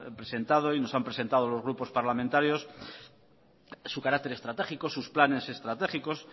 presentado y nos han presentado a los grupos parlamentarios su carácter estratégico sus planes estratégicos